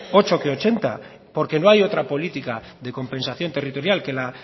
ocho que ochenta porque no hay otra política de compensación territorial que la